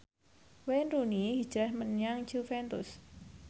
Wayne Rooney hijrah menyang Juventus